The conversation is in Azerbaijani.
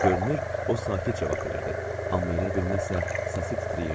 Görünür, o sakit cavab verirdi, amma elə bil nəsə səsi titrəyirdi.